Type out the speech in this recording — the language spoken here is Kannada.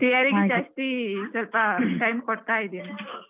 Theory ಗೆ ಸ್ವಲ್ಪ time ಕೊಡ್ತಾ ಇದೀನಿ.